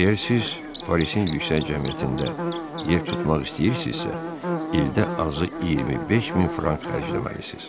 Əgər siz Parisin yüksək cəmiyyətində yer tutmaq istəyirsinizsə, ildə azı 25 min frank xərcləməlisiniz.